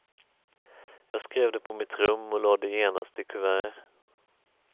Jag skrev det på mitt rum och la det genast i kuvert.